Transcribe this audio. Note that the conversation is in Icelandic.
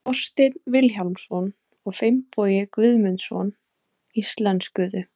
Þorsteinn Vilhjálmsson og Finnbogi Guðmundsson íslenskuðu.